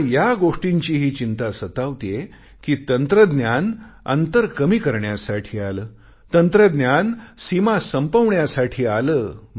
मला या गोष्टींचीही चिंता सतावतेय कि तंत्रज्ञान अंतर कमी करण्यासाठी आले तंत्रज्ञान सीमा संपवण्यासाठी आले